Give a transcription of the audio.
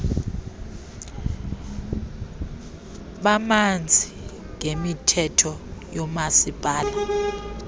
bamanzi ngemithetho yoomasipala